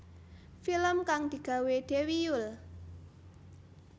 Film kang digawé Dewi Yull